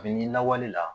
A bi n'i lawale la